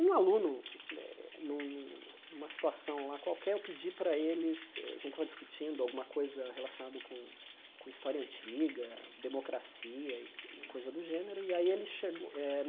Um aluno eh num numa situação lá qualquer, eu pedi para eles, a gente estava discutindo alguma coisa relacionada com com história antiga, democracia e coisa do gênero, e aí ele chegou. Eh